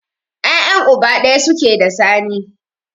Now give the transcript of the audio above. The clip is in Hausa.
Ya'yan uba ɗaya suke da Sani.